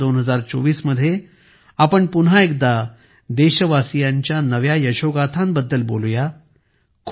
वर्ष 2024 मध्ये आपण पुन्हा एकदा देशवासीयांच्या नव्या यशोगाथांबद्दल बोलू या